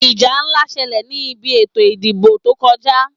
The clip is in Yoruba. Ìjà ńlá ṣẹlẹ̀ ní bi ètò ìdìbò tó kọjá.